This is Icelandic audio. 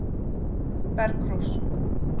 Bergrós